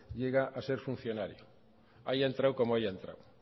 llega a ser funcionario haya entrado como haya entrado